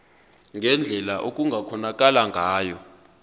ngendlela okungakhonakala ngayo